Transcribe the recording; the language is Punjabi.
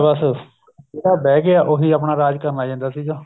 ਬੱਸ ਜਿਹੜਾ ਬਿਹ ਗਿਆ ਉਹੀ ਆਪਣਾ ਰਾਜ ਕਰਨ ਲੱਗ ਜਾਂਦਾ ਸੀਗਾ